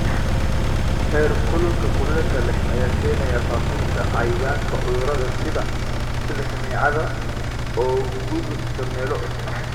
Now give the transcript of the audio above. Heerkulka kulaylka leh ayaa keenaya faafinta cayayaanka cudurada sida, sida kaneecada, oo u gudubta meelo cusub.